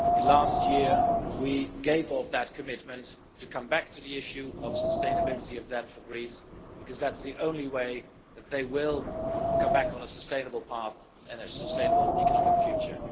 Last year we already gave that commitment to come back to the issue of sustainability of debt for Greece, because that is the only way that they will come back onto a sustainable path and a sustainable economic future.